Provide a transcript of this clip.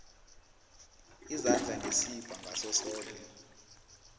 izandla ngesibha ngasosoke